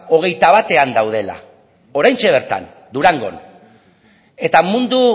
hogeita batean daudela oraintxe bertan durangon eta mundu